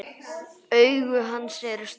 Augu hans eru stór.